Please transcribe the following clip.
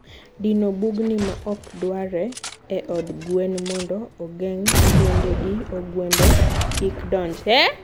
dino bugni maok dwarre e od gwen mondo ogeng' thuonde gi ogwende kik donj.